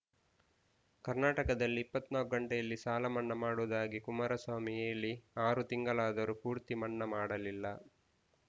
ಕರ್ನಾಟಕದಲ್ಲಿ ಇಪ್ಪತ್ತ್ ನಾಲ್ಕು ಗಂಟೆಯಲ್ಲಿ ಸಾಲ ಮನ್ನಾ ಮಾಡುವುದಾಗಿ ಕುಮಾರಸ್ವಾಮಿ ಹೇಳಿ ಆರು ತಿಂಗಳಾದರೂ ಪೂರ್ತಿ ಮನ್ನಾ ಮಾಡಲಿಲ್ಲ